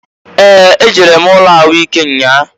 Ee! E jere m ụlọ ahụ ike nnya a.